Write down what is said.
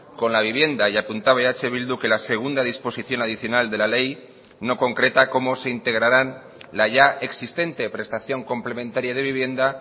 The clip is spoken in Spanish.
con la vivienda y apuntaba eh bildu que la segunda disposición adicional de la ley no concreta cómo se integrarán la ya existente prestación complementaria de vivienda